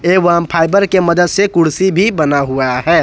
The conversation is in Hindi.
एवं फाइबर के मदद से कुर्सी भी बना हुआ है।